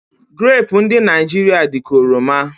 Grapu ndụ Naijiria dị ka oroma